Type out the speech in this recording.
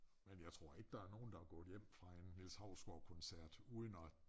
Men jeg tror ikke der er nogen der er gået hjem fra en Niels Hausgaard koncert uden at